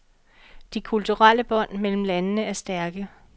De kulturelle bånd mellem landene er stærke.